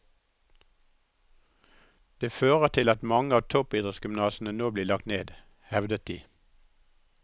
Det fører til at mange av toppidrettsgymnasene nå blir lagt ned, hevdet de.